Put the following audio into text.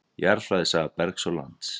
Jarðfræði- saga bergs og lands.